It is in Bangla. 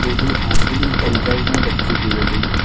খুবই আধুনিক ডিজাইনের একটি বিল্ডিং ।